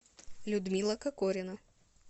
людмила кокорина